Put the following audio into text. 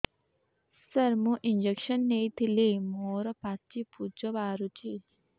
ସାର ମୁଁ ଇଂଜେକସନ ନେଇଥିଲି ମୋରୋ ପାଚି ପୂଜ ବାହାରୁଚି